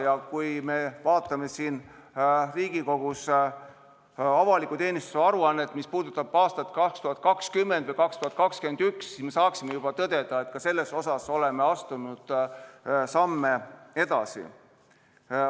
Loodan, et kui me kuulame siin Riigikogus avaliku teenistuse aruannet, mis puudutab aastat 2020 või 2021, siis me saame juba tõdeda, et ka selles osas oleme astunud samme edasi.